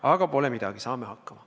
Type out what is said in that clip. Aga pole midagi, saame hakkama.